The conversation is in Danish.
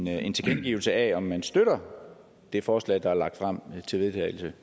havde en tilkendegivelse af om man støtter det forslag til vedtagelse